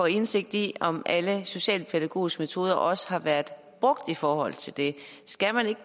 indsigt i om alle socialpædagogiske metoder også har været brugt i forhold til det skal man ikke